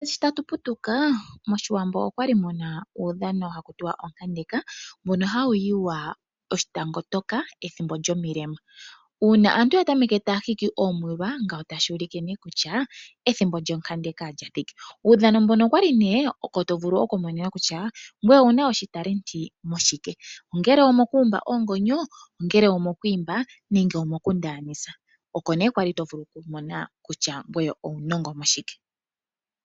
Sho tatu putuka moshiwambo okwali muna uudhano ha kutiwa onkandeka mbono hawu yiwa oshitango toka uuna kuna omilema. Uuna aantu ya tameke taya hiki omwiila otashi ulike kutya ethimbo lyonkandeka olya thika. Kuudhano mbono oko wali to vulu oku mona kutya owuna uunongo washike ongele owuumba oongonyo, okwiimba nenge okundaanisa.